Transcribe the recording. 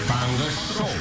таңғы шоу